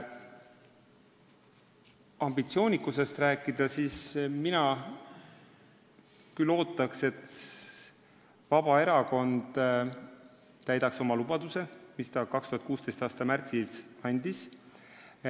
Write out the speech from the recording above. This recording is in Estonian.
Kui ambitsioonikusest rääkida, siis mina küll ootaks, et Vabaerakond täidaks oma lubaduse, mis ta 2016. aasta märtsis andis.